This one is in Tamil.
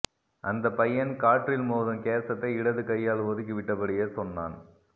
அந்தப் பையன் காற்றில் மோதும் கேசத்தை இடது கையால் ஒதுக்கிவிட்டபடியே சொன்னான்